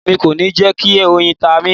Emi ko ni jẹ ki oyin ta mi